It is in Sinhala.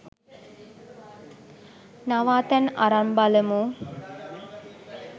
නවාතැන් අරන් බලමු